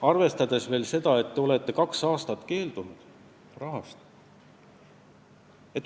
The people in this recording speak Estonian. Arvestage veel seda, et te olete kaks aastat sellest rahast keeldunud.